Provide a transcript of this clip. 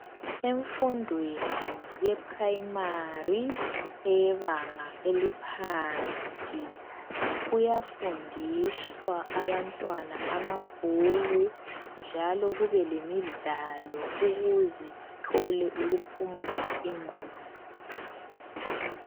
Emfundweni ye"primary" eyebanga eliphansi, kuyafundiswa abantwana amabhuku njalo kube lemidlalo ukuze bathole ukuphumuza ingqondo.